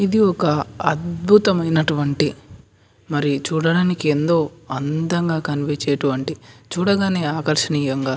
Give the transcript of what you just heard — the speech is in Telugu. ఇది ఒక అద్భుతమైన అంటివంటి మరి చూడడానికి ఎంతో అందంగా కన్పించేవంటి చూడగానే ఆకర్షియాంగా --